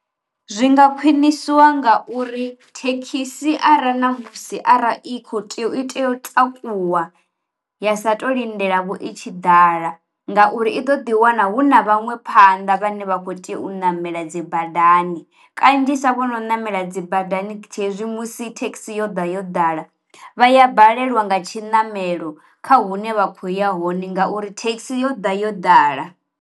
Zwi nga khwiniswa nga uri thekhisi ara na musi ara i kho tea u i tea u takuwa ya sa to lindela vho i tshi ḓala ngauri i ḓo ḓi wana hu na vhaṅwe phanḓa vhane vha u tea u namela dzi badani, kanzhisa vhono namela dzi badani tshi hezwi musi thekhisi yo ḓa yo ḓala vha ya balelwa nga tshi namelo kha hune vha khoya hone ngauri thekhisi yo ḓa yo ḓala.